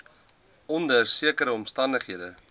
onder sekere omstandighede